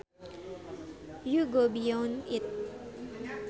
you go beyond it